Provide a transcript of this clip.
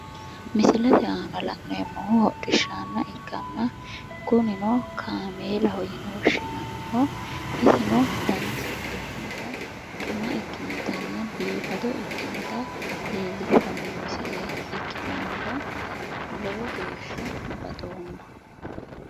Misilete aana la'neemmohu hodhishshaanna ikkanna kunino kameelaaho yine woshshinanniho isino danasi addinata xuama ikkinotanna biifado ikinota leellishshanno misile ikkitinohura lowo geeshsha baxoomma.